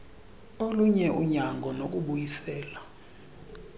olunye unyango nokubuyiselwa